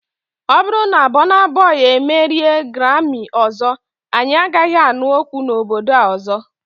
Ọ bụrụ na Bona boi emerie Garami ọzọ, anyị agaghị anụ okwu na obodo a ọzọ.